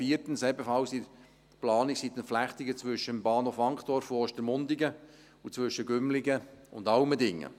Und viertens: Ebenfalls in Planung sind die Entflechtungen zwischen dem Bahnhof Wankdorf und Ostermundigen sowie zwischen Gümligen und Allmendingen.